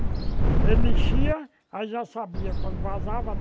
Ele enchia, aí já sabia quando vazava.